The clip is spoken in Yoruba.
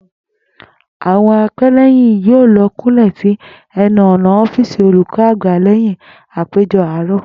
Àwo̩n apé̩lé̩yìn yóò lo̩ kúnlè̩ sí e̩nu ò̩nà ó̩fíìsì olùkó̩ àgbà lé̩yìn àpéjo̩ àárò̩